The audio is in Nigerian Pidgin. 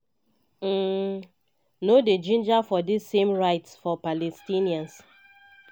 um no dey ginger for di same rights for palestinians.